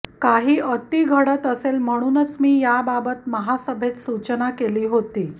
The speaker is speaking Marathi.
काही अती घडत असेल म्हणूनच मी याबाबत महासभेत सूचना केली होती